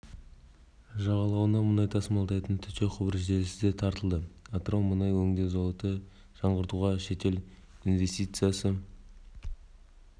жағалауына мұнай тасымалдайтын төте құбыр желісі де тартылды атырау мұнай өңдеу зауытын жаңғыртуға шетел инвестициясы